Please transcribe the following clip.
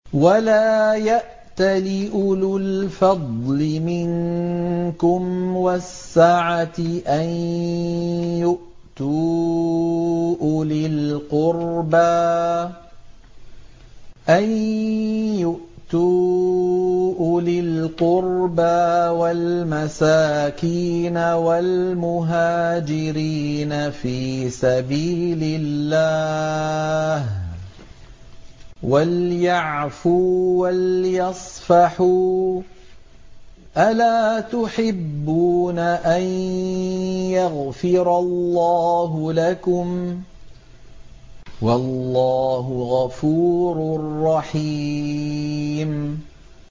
وَلَا يَأْتَلِ أُولُو الْفَضْلِ مِنكُمْ وَالسَّعَةِ أَن يُؤْتُوا أُولِي الْقُرْبَىٰ وَالْمَسَاكِينَ وَالْمُهَاجِرِينَ فِي سَبِيلِ اللَّهِ ۖ وَلْيَعْفُوا وَلْيَصْفَحُوا ۗ أَلَا تُحِبُّونَ أَن يَغْفِرَ اللَّهُ لَكُمْ ۗ وَاللَّهُ غَفُورٌ رَّحِيمٌ